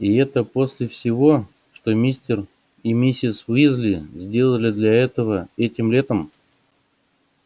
и это после всего что мистер и миссис уизли сделали для этого этим летом